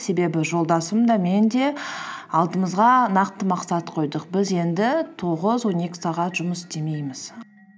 себебі жолдасым да мен де алдымызға нақты мақсат қойдық біз енді тоғыз он екі сағат жұмыс істемейміз